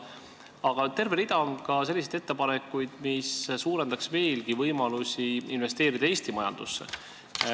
Aga terve rida on selliseid ettepanekuid, mis suurendaksid veelgi võimalusi investeerida Eesti majandusse.